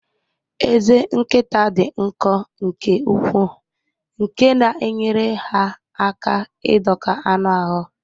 Ezé nkịta dị nkọ nke ukwuu nke na-enyere ha aka ịdọka anụ ahụ